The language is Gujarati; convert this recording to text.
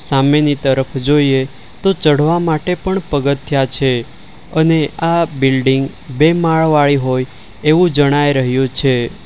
સામેની તરફ જોઈએ તો ચડવા માટે પણ પગથિયાં છે અને આ બિલ્ડીંગ બે માળવાળી હોય એવું જણાઈ રહ્યું છે.